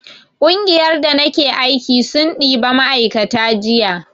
ƙungiyar da nake aiki sun ɗiba ma'aikata jiya